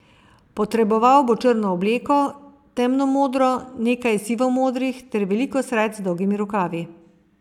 Potreboval bo črno obleko, temnomodro, nekaj sivomodrih ter veliko srajc z dolgimi rokavi.